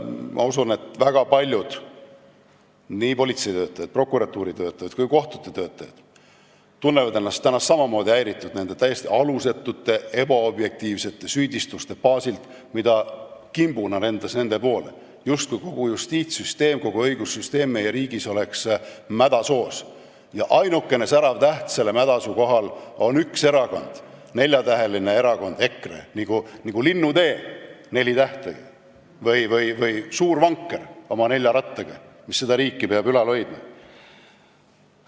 Ma usun, et väga paljud politsei, prokuratuuri ja kohtute töötajad tunnevad ennast täna samamoodi häirituna nende täiesti alusetute ebaobjektiivsete süüdistuste tõttu, mis kimbuna nende poole lendasid, justkui kogu meie riigi justiitssüsteem, kogu õigussüsteem oleks mädasoos ja ainuke särav täht selle mädasoo kohal oleks üks erakond, neljatäheline erakond EKRE, nii kui Linnutee nelja tähega või Suur Vanker oma nelja rattaga, mis peab seda riiki ülal hoidma.